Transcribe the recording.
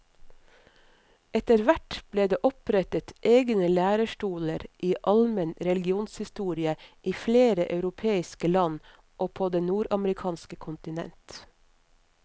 Etterhvert ble det opprettet egne lærestoler i almen religionshistorie i flere europeiske land og på det nordamerikanske kontinent.